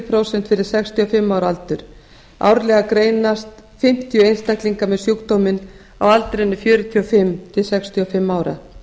prósent fyrir sextíu og fimm ára aldurinn árlega greinast um fimmtíu einstaklingar með sjúkdóminn á aldrinum fjörutíu og fimm til sextíu og fimm ára